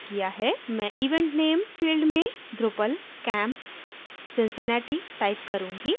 मैं event name field में drupalcamp cincinnati type करूँगी